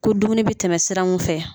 Ko dumuni bɛ tɛmɛ sira mun fɛ